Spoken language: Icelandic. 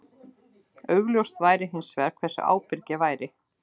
Augljóst væri hins vegar hversu ábyrg ég væri.